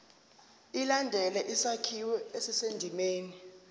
ilandele isakhiwo esisendimeni